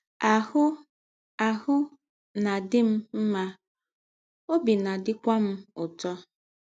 Ahụ́ Ahụ́ na - adị m mma, ọbi na - adịkwa m ụtọ. ”